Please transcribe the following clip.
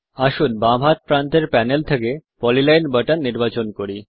আসুন বাম হাত প্রান্তের প্যানেল থেকে পলিলাইন বাটন নির্বাচন করি